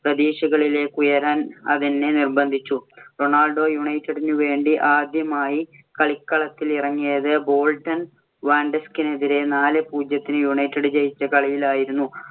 പ്രതീക്ഷകളിലേക്കുയരാൻ അതെന്നെ നിർബ്ബന്ധിച്ചു. റൊണാൾഡോ യുണൈറ്റഡിനു വേണ്ടി ആദ്യമായി കളിക്കളത്തില്‍ ഇറങ്ങിയത് ബോൾട്ടൺ വാൻഡറേഴ്സിനെതിരെ നാലേ പൂജ്യത്തിന് യുണൈറ്റഡ് ജയിച്ച കളിയിൽ ആയിരുന്നു.